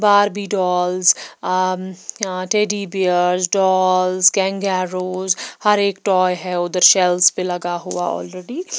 Barbie dolls teddy bears dolls गंगारोज हर एक टॉय है उधर शेल्स पे लगा हुआ ऑलरेडी --